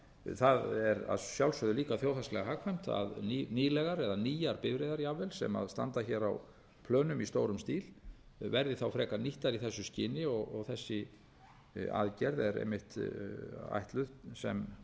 það er að sjálfsögðu líka þjóðhagslega hagkvæmt að nýlegar eða nýjar bifreiðar jafnvel sem standa hér á plönum í stórum stíl verði þá frekar nýttar í þessu skyni og þessi aðgerð er einmitt ætluð sem